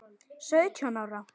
Sautján ára?